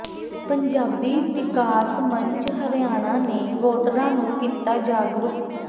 ਪੰਜਾਬੀ ਵਿਕਾਸ ਮੰਚ ਹਰਿਆਣਾ ਨੇ ਵੋਟਰਾਂ ਨੂੰ ਕੀਤਾ ਜਾਗਰੂਕ